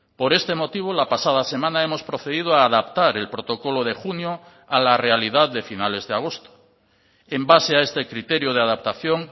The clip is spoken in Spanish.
por este motivo la pasada semana hemos procedido a adaptar el protocolo de junio a la realidad de finales de agosto en base a este criterio de adaptación